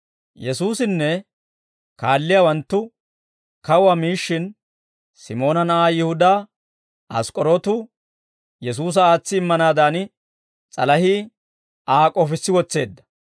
Yesuusinne kaalliyaawanttu kawuwaa miishshin, Simoona na'aa Yihudaa Ask'k'orootu Yesuusa aatsi immanaadan, s'alahii Aa k'ofissi wotseedda.